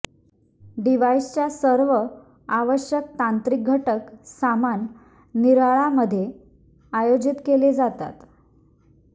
डिव्हाइसच्या सर्व आवश्यक तांत्रिक घटक सामान निराळा मध्ये आयोजित केले जातात